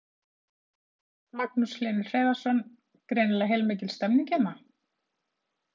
Magnús Hlynur Hreiðarsson: Greinilega heilmikil stemning hérna?